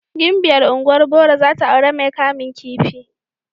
Gimbiya ungwan boro zata auren mai kamun kifi.